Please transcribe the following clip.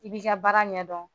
I b'i ka baara ɲɛdɔn